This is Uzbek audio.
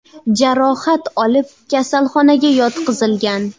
jarohat olib, kasalxonaga yotqizilgan.